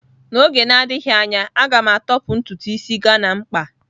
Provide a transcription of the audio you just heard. N'oge na-adịghị anya, a ga m atọpụ ntutu ịsị Ghana m kpaa..